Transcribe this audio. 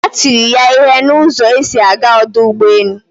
Ha tiri ya ihe na ụzọ esi aga ọdụ ụgbọ elu